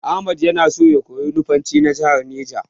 Ahmad na so ya koyi Nufanci na jahar Neja.